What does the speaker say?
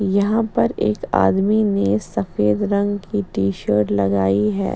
यहाँ पर एक आदमी ने सफ़ेद रंग की टी- शर्ट लगाई है --